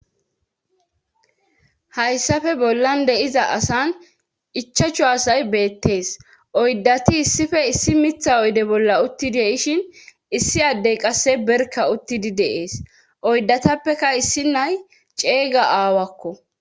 Hayssafe bollan deiza asan ichachu asay beettees oyddati issife issi mitha oyde bolla uttidi ishin issi addey qasse berka uttidi deees oydatappeka issi nay ceeyga aawakko.